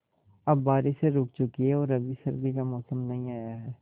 अब बारिशें रुक चुकी हैं और अभी सर्दी का मौसम नहीं आया है